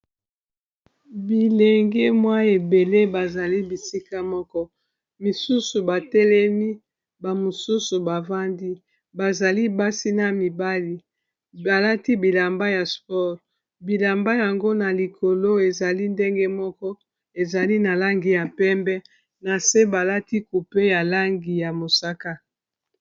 Bilenge mwa ebele bazali bisika moko, misusu batelemi ba misusu bavandi bazali basi na mibali. Balati bilamba ya sport bilamba yango na likolo ezali ndenge moko ezali na langi ya pembe na se balati coupe ya langi ya mosaka.